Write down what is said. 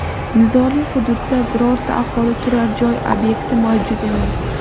Nizoli hududda birorta aholi turar joy obyekti mavjud emas.